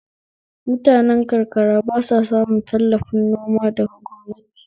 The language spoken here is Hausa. Mutane karakara ba sa samun tallafi noma daga gwamnati